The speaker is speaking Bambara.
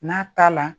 N'a t'a la